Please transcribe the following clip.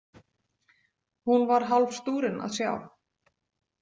Hún var hálf stúrin að sjá.